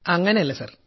അങ്ങനെയല്ല സർ